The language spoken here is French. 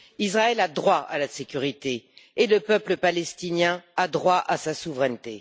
Israël a droit à la sécurité et le peuple palestinien a droit à sa souveraineté.